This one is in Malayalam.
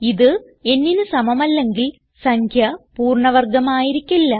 ഇത് nന് സമമല്ലെങ്കിൽ സംഖ്യ പൂർണ്ണ വർഗം ആയിരിക്കില്ല